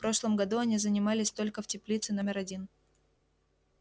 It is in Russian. в прошлом году они занимались только в теплице номер один